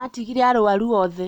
atigire arwaru othe